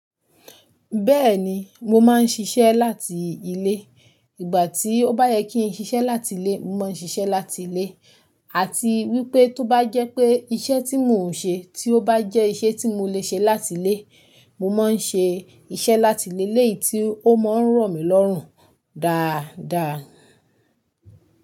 Bẹ́ẹ̀ni, mo máa ń ṣiṣẹ́ láti ilé. Ìgbà tí ó bá yẹ kí n ṣiṣẹ́ láti ilé, mo máa ń ṣiṣẹ́ láti ilé. Àti wípé tó bá jẹ́ pé iṣẹ́ tí mò ń ṣe tí ó bá jẹ́ iṣẹ́ tí mo le ṣe láti ilé, mo máa ń ṣe iṣẹ́ láti ilé léyìí tí ó máa ń ràn mí lọ́rùn dáadáa.